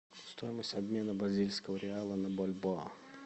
стоимость обмена бразильского реала на бальбоа